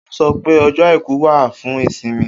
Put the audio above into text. O sọ pé ọjọ àìkú wa fún ìsinmi